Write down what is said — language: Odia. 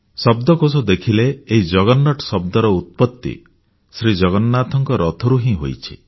ଶବ୍ଦକୋଷ ଦେଖିଲେ ଏହି ଜଗରନାଟ ଶବ୍ଦର ଉତ୍ପତ୍ତି ଜଗନ୍ନାଥଙ୍କ ରଥରୁ ହିଁ ହୋଇଛି